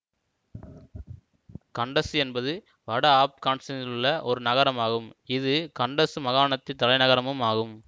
கண்டசு என்பது வட ஆப்கானித்தானிலுள்ள ஒரு நகரமாகும் இது கண்டசு மாகாணத்தின் தலைநகரமும் ஆகும்